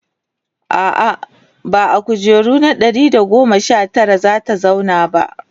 a'a ba a kujera na Ɗari da goma Sha Tara zata zauna ba